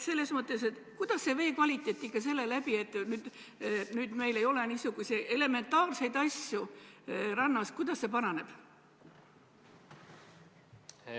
Kuidas vee kvaliteet tänu sellele, et meil ei ole niisuguseid elementaarseid asju rannas, ikkagi paraneb?